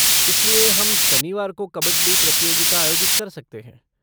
इसलिए, हम शनिवार को कबड्डी प्रतियोगिता आयोजित कर सकते हैं।